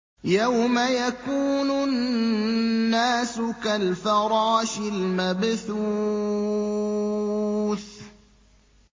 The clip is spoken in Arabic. يَوْمَ يَكُونُ النَّاسُ كَالْفَرَاشِ الْمَبْثُوثِ